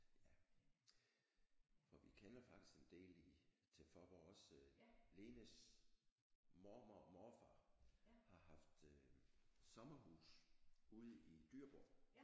Ja for vi kender faktisk en del i til Faaborg også Lenes mormor og morfar har haft øh sommerhus ude i Dyreborg